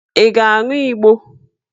Ị ga-aṅụ Igbo?